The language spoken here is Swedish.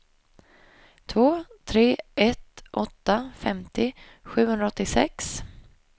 två tre ett åtta femtio sjuhundraåttiosex